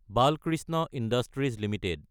Balkrishna Industries Ltd